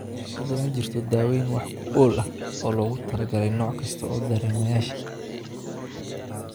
Hadda ma jirto daaweyn wax ku ool ah oo loogu talagalay nooc kasta oo dareemayaasha dareemayaasha dareemayaasha.